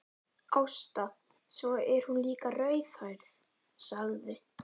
Ásta, svo er hún líka rauðhærð, sagði